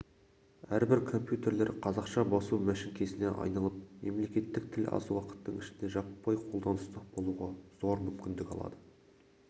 әрбір компьютерлер қазақша басу мәшіңкесіне айналып мемлекеттік тіл аз уақыттың ішінде жаппай қолданыста болуға зор мүмкіндік алады